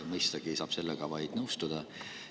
Mõistagi saab vaid nõustuda.